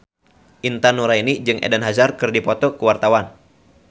Intan Nuraini jeung Eden Hazard keur dipoto ku wartawan